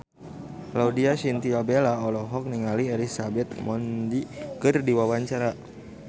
Laudya Chintya Bella olohok ningali Elizabeth Moody keur diwawancara